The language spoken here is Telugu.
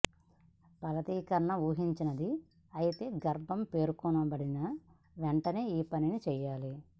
ఫలదీకరణం ఊహించనిది అయితే గర్భం పేర్కొనబడిన వెంటనే ఈ పని చేయాలి